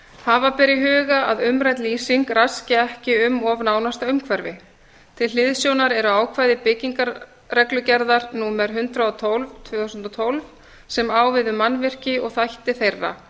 hafa ber í huga að umrædd lýsing raski ekki um of nánasta umhverfi til hliðsjónar eru ákvæði byggingarreglugerðar númer hundrað og tólf tvö þúsund og tólf sem á við um mannvirki og þætti þeirra